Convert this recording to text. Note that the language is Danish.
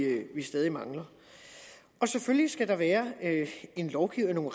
stadig mangler selvfølgelig skal der være en lovgivning og